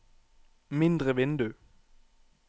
mindre vindu